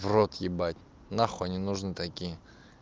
в рот ебать нахуй они нужны такие